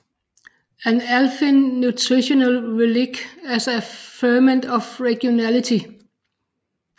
An Alpine Nutritional Relic as a Ferment of Regionality